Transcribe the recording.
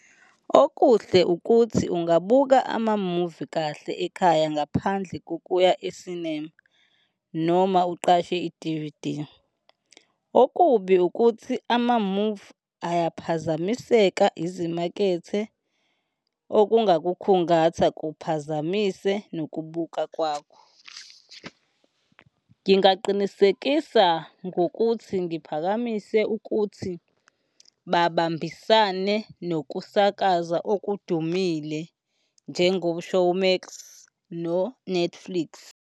Okuhle ukuthi ungabuka amamuvi kahle ekhaya ngaphandle kokuya e-cinema noma uqashe i-D_V_D. Okubi ukuthi amamuvi ayaphazamiseka izimakethe, okungakukhungatha kuphazamise nokubuka kwakho. Ngingaqinisekisa ngokuthi ngiphakamise ukuthi babambisane nokusakaza okudumile, njengo-Showmax no-Netflix.